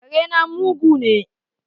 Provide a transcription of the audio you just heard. Kare na mugu ne